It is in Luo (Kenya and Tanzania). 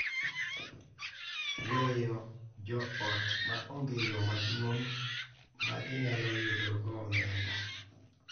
Weyo joot ma onge yo maduong’ ma ginyalo yudogo omenda.